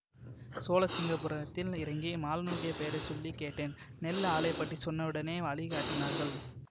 சோழசிங்கபுரத்தில் இறங்கி மாலனுடைய பெயரை சொல்லி கேட்டேன் நெல் ஆலை பற்றி சொன்னவுடனே வழி காட்டினார்கள்